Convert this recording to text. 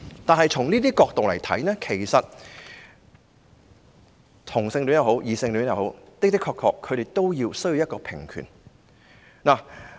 不過，從這些角度而言，同性戀及異性戀人士的確也需要平權。